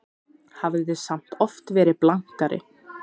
Hafði samt oft verið blankari.